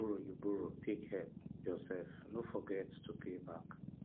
if na borrow you borrow take help yourself no forget to pay back